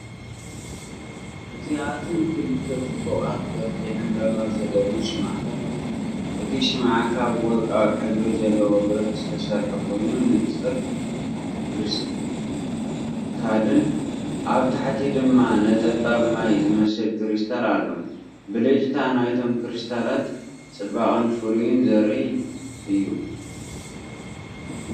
እዚኣተን ክልተ ጽቡቓት ቅርጺ ዕምባባ ዘለወን ሽምዓታት እየን። እቲ ሽምዓ ካብ ወርቃዊ ሕብሪ ዘለዎ ብረት ዝተሰርሐ ኮይኑ ንጹር ክሪስታል። ኣብ ታሕቲ ድማ ነጠብጣብ ማይ ዝመስል ክሪስታል ኣሎ። ብልጭታ ናይቶም ክሪስታላት ጽባቐን ፍሉይነትን ዘርኢ እዩ።